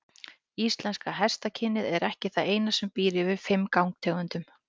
Íslenska hestakynið er ekki það eina sem býr yfir fimm gangtegundum.